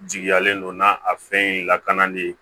Jigiyalen don na a fɛn in lakanan de ye